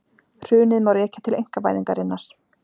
Hrunið má rekja til einkavæðingarinnar